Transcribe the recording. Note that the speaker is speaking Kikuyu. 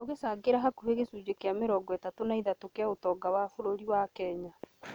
ũgĩcangĩra hakuhĩ gĩcunjĩ kĩa mĩrongo ĩtatũ na ithatũ kĩa ũtonga wa bũrũri wa Kenya